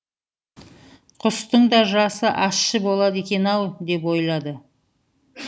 құстың да жасы ащы болады екен ау деп ойлады